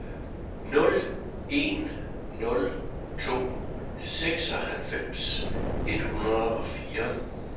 nul en nul to seksoghalvfems et hundrede og fire